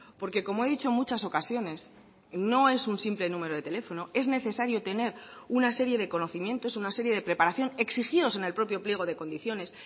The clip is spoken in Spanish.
porque como he dicho en muchas ocasiones no es un simple número de teléfono es necesario tener una serie de conocimientos una serie de preparación exigidos en el propio pliego de condiciones